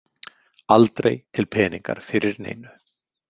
Aldrei til peningar fyrir neinu.